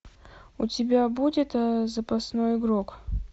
у тебя будет запасной игрок